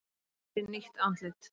Sýndi nýtt andlit